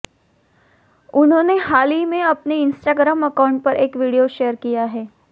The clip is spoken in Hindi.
उन्होंने हाल ही में अपने इन्स्टाग्राम अकाउंट पर एक वीडियो शेयर किया है